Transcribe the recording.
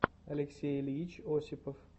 алексей ильич осипов